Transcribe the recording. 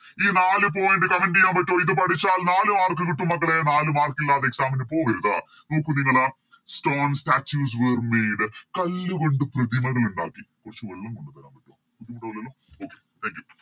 ഈ നാല് Point comment ചെയ്യാൻ പറ്റുവോ ഇത് പഠിച്ചാൽ നാല് Mark കിട്ടും മക്കളെ നാല് Mark ഇല്ലാതെ Exam ന് പോവരുത് നോക്കു നിങ്ങള് Stone statues were made കല്ല് കൊണ്ട് പ്രതിമകൾ ഇണ്ടാക്കി കൊർച് വെള്ളം കോണ്ടത്തെരാൻ പറ്റുവോ ബുദ്ധിമുട്ടാവില്ലല്ലോ Okay thankyou